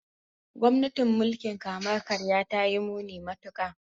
Gwamnatin mulkin kama karya ta yi muni matuka.